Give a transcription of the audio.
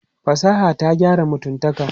Fasaha ta gyara mutumtaka.